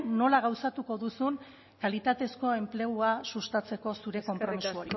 nola gauzatuko duzun kalitatezko enplegua sustatzeko zure konpromiso hori eskerrik asko